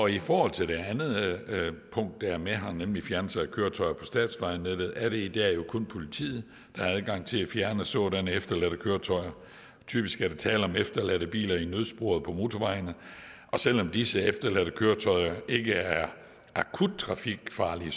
i forhold til det andet punkt der er med nemlig fjernelse af køretøjer på statsvejnettet er det jo i dag kun politiet der har adgang til at fjerne sådanne efterladte køretøjer typisk er der tale om efterladte biler i nødsporet på motorvejene og selv om disse efterladte køretøjer ikke er akut trafikfarlige